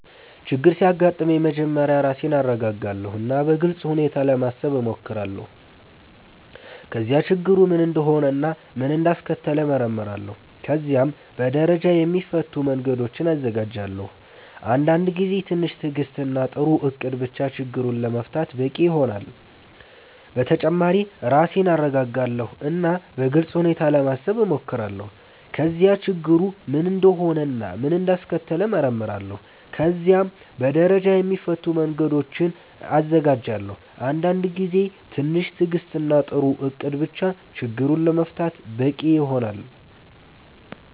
ችግር ሲያጋጥመኝ መጀመሪያ ራሴን እረጋጋለሁ እና በግልጽ ሁኔታ ለማሰብ እሞክራለሁ። ከዚያ ችግሩ ምን እንደሆነ እና ምን እንዳስከተለው እመረምራለሁ። ከዚያም በደረጃ የሚፈቱ መንገዶችን እዘጋጃለሁ። አንዳንድ ጊዜ ትንሽ ትዕግስት እና ጥሩ እቅድ ብቻ ችግሩን ለመፍታት በቂ ይሆናል። በተጨማሪ ራሴን እረጋጋለሁ እና በግልጽ ሁኔታ ለማሰብ እሞክራለሁ። ከዚያ ችግሩ ምን እንደሆነ እና ምን እንዳስከተለው እመረምራለሁ። ከዚያም በደረጃ የሚፈቱ መንገዶችን እዘጋጃለሁ። አንዳንድ ጊዜ ትንሽ ትዕግስት እና ጥሩ እቅድ ብቻ ችግሩን ለመፍታት በቂ ይሆናል።